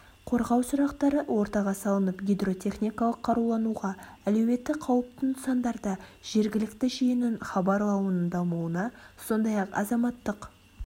қорғау сұрақтары ортаға салынып гидротехникалық қарулануға әлеуеті қаупті нысандарда жергілікті жүйенің хабарлауының дамуына сондай-ақ азаматтық